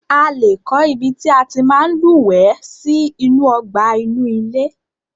A lé kọ́ ibi tí a tí máa ń lúwẹ̀ẹ́ sí inú ọgbà inú ilé.